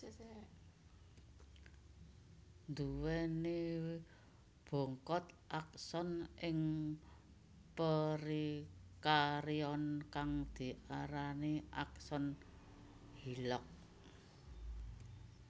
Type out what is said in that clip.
Nduwèni bongkot akson ing perikarion kang diarani akson Hillock